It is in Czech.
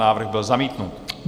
Návrh byl zamítnut.